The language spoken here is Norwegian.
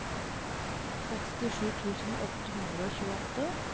sekstisju tusen åtte hundre og tjueåtte